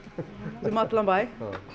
um allan bæ